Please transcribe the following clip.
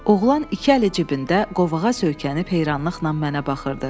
Oğlan iki əli cibində, qovağa söykənib heyranlıqla mənə baxırdı.